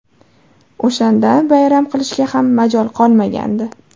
O‘shanda bayram qilishga ham majol qolmagandi.